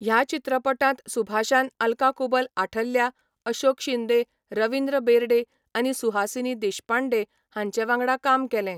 ह्या चित्रपटांत सुभाषान आल्का कुबल आठल्या, अशोक शिंदे, रवींद्र बेरडे आनी सुहासिनी देशपांडे हांचे वांगडा काम केलें.